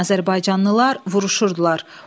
Azərbaycanlılar vuruşurdular.